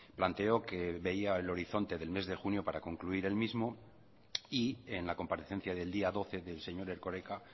planteó que veía el horizonte del mes de junio para concluir el mismo y en la comparecencia del día doce del señor erkoreka